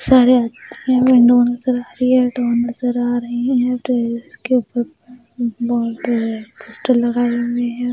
सारे विंडो नज़र आ रही है नज़र आ रहे हैं पोस्टर लगाए हुए हैं।